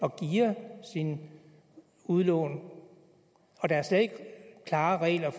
at geare sine udlån og der er slet ikke klare regler